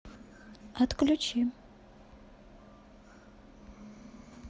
отключи